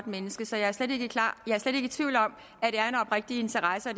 menneske så jeg er slet ikke i tvivl om at det er en oprigtig interesse og